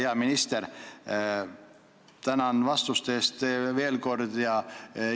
Ja hea minister, tänan vastuste eest veel kord!